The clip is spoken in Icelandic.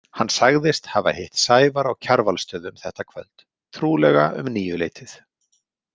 Hann sagðist hafa hitt Sævar á Kjarvalsstöðum þetta kvöld, trúlega um níuleytið.